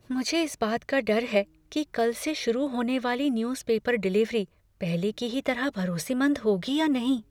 मुझे इस बात का डर है कि कल से शुरू होने वाली न्यूज पेपर डिलीवरी पहले की ही तरह भरोसेमंद होगी या नहीं?